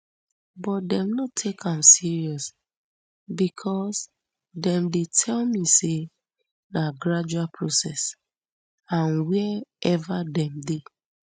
but dem no take am serious becos dem dey tell me say na gradual process and wia ever dem dey